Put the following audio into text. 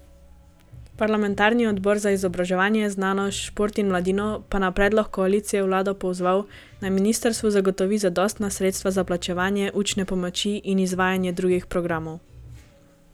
Parlamentarni odbor za izobraževanje, znanost, šport in mladino pa je na predlog koalicije vlado pozval, naj ministrstvu zagotovi zadostna sredstva za plačevanje učne pomoči in izvajanje drugih programov.